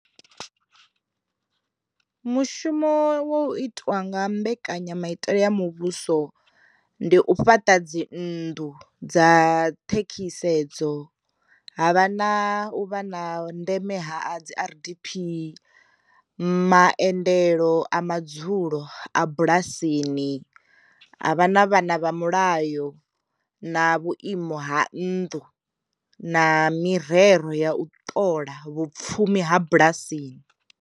Mushumo wo itiwa nga mbekanyamaitele ya muvhuso ndi u fhaṱa dzi nnḓu dza ṱhekhisedzo havha na u vha na ndeme ha dzi r_d_p, ma endelo a madzulo a bulasini, ha vha na vhana vha mulayo, na vhuimo ha nnḓu, na mirero ya u ṱola vhupfumi ha bulasini.